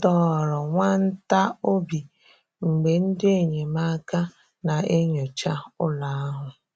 Ọ dọ̀ọrọ nwa ntà obi mgbe ndị enyemáka na-enyòcha ụlọ̀ ahụ̀.